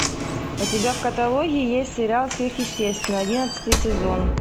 у тебя в каталоге есть сериал сверхъестественное одиннадцатый сезон